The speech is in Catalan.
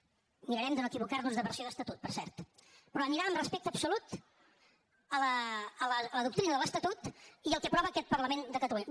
mirarem de no equivocar nos de versió d’estatut per cert però anirà amb respecte absolut a la doctrina de l’estatut i al que aprova aquest parlament de catalunya